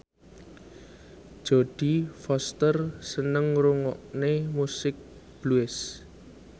Jodie Foster seneng ngrungokne musik blues